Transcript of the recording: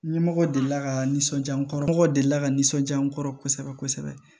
Ɲɛmɔgɔ delila ka nisɔndiya n kɔrɔ mɔgɔ deli la ka nisɔnjaa n kɔrɔ kosɛbɛ kosɛbɛ